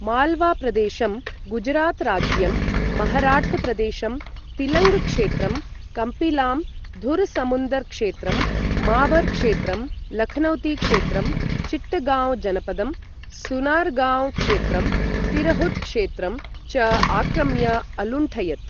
मालवा प्रदेशं, गुजरात राज्यं, महराट्ट प्रदेशं, तिलङ्ग क्षेत्रं, कम्पिलां, धुर समुन्दर् क्षेत्रं, माबर् क्षेत्रं, लखनौती क्षेत्रं, चिट्टगाँव जनपदं, सुनारगान्व् क्षेत्रं, तिरहुत् क्षेत्रं च आक्रम्य अलुण्ठयत्।